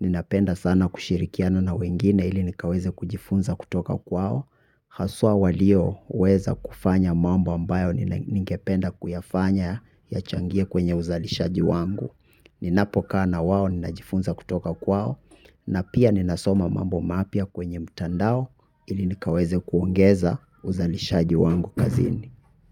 Ninapenda sana kushirikiana na wengine ili nikaweze kujifunza kutoka kwao. Haswa walio weza kufanya mambo ambayo ningependa kuyafanya ya changie kwenye uzalishaji wangu. Ninapo kaa na wao ninajifunza kutoka kwao na pia ninasoma mambo mapya kwenye mtandao ili nikaweze kuongeza uzalishaji wangu kazini.